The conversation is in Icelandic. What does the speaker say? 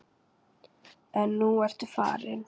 En nú ertu farin.